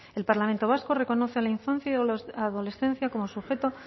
el parlamento vasco reconoce a la infancia y adolescencia como sujeto